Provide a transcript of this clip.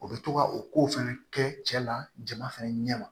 O bɛ to ka o kow fɛnɛ kɛ cɛ la jama fɛnɛ ɲɛ ma